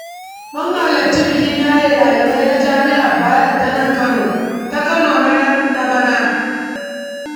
Mun halarci bikin yaye ɗaliabai na jami'ar Bayero ta Kano na bana.